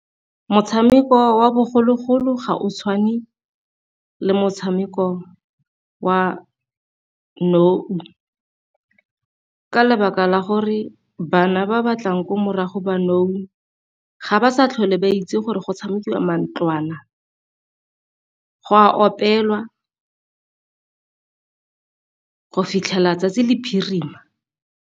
Motshameko wa bogologolo ga o tshwane le motshameko wa nou ka lebaka la gore bana ba batlang ko morago ba nou ga ba sa tlhole ba itse gore go tshamekiwa mantlwana, go a opelwa go fitlhela 'tsatsi le phirima.